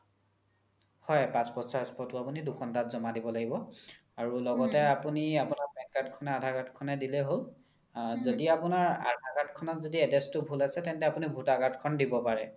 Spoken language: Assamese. হয় passport size photo দুখন তাত জ্মা দিব লাগিব লগতে আপোনি আপোনাৰ PAN card খনে aadhar card খনে দিলে হ্'ল য্দি আপোনাৰ aadhar card খনত address তো ভুল আছে তেন্তে আপোনি voter card khon দিব পাৰে